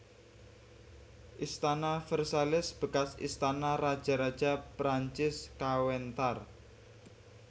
Istana Versailles bekas istana raja raja Perancis kawéntar